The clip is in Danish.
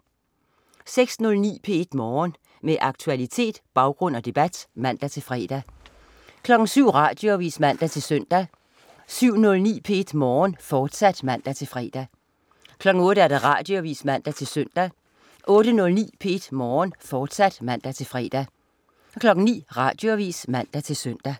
06.09 P1 Morgen. Med aktualitet, baggrund og debat (man-fre) 07.00 Radioavis (man-søn) 07.09 P1 Morgen, fortsat (man-fre) 08.00 Radioavis (man-søn) 08.09 P1 Morgen, fortsat (man-fre) 09.00 Radioavis (man-søn)